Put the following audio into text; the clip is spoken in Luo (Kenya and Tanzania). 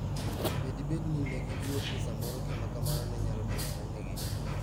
Be dibed ni ne giluor ni samoro gima kamano ne nyalo timorenegi?